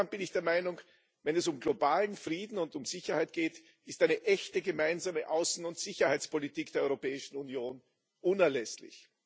Insgesamt bin ich der Meinung Wenn es um globalen Frieden und Sicherheit geht, ist eine echte Gemeinsame Außen und Sicherheitspolitik der Europäischen Union unerlässlich.